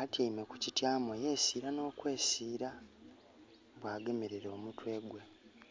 Atyaime ku kityaamo yesiila n'okwesiila, bwagemerera omutwe gwe.